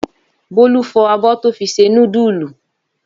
Bólú fọ abọ́ tó fi se núdúlù.